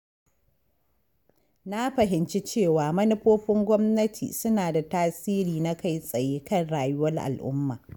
Na fahimci cewa manufofin gwamnati suna da tasiri na kai-tsaye kan rayuwar al’umma.